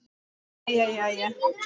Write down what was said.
Jæja, jæja.